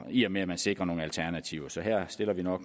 i og med at man sikrer nogle alternativer så her stiller vi